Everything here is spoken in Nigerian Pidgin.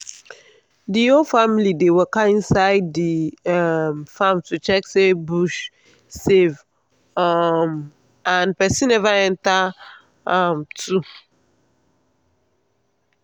the whole family dey waka inside the um farm to check say bush safe um and person never enter um too.